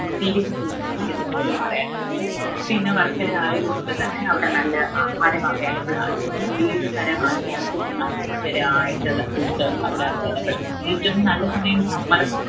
experience ഇൽനിന്നും എനിക്ക് നിങ്ങളോട് പറയാനുള്ളത് പിന്ന വർക്കല ആയതുകൊണ്ട് തന്നെ അവിടെ നല്ല ആഹാരം available ആണ്. ഏത് തരം ആൾക്കാർക്കും അനുയോജ്യരായിട്ടുള്ള food അവിടെ available ആണ്. ഏറ്റവും നല്ല സമയം summer